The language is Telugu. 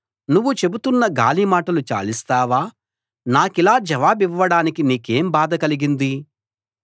నువ్వు చెబుతున్న గాలిమాటలు చాలిస్తావా నాకిలా జవాబివ్వడానికి నీకేం బాధ కలిగింది